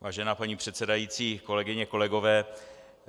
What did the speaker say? Vážená paní předsedající, kolegyně, kolegové.